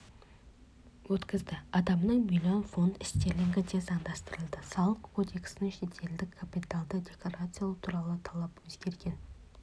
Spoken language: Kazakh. өткізді адамның миллион фунт стерлингі де заңдастырылды салық кодексіндегі шетелдік капиталды декларациялау туралы талап өзгерген